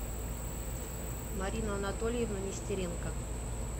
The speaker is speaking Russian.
марину анатольевну нестеренко